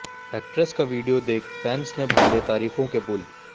actress का video देख fans ने बांधे तारीफों के पुल